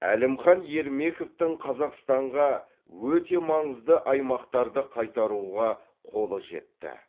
әлімхан ермековтің қазақстанға өте маңызды аймақтарды қайтаруға қолы жетті